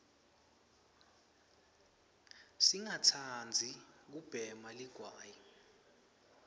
singa tsanbzi kubhema ligwayi